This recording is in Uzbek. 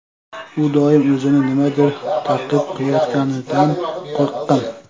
U doim o‘zini nimadir taqib qilayotganidan qo‘rqqan.